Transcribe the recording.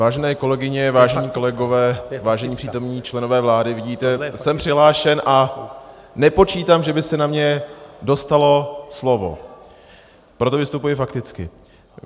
Vážené kolegyně, vážení kolegové, vážení přítomní členové vlády, vidíte, jsem přihlášen a nepočítám, že by se na mě dostalo slovo, proto vystupuji fakticky.